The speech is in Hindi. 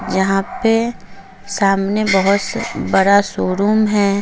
जहां पे सामने बहोत बड़ा शोरूम है।